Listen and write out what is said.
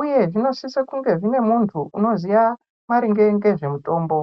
uye zvinosise kunge zvine munthu unoziya maringe ngezve muthombo.